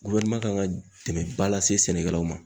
kan ka dɛmɛnba lase sɛnɛkɛlaw ma.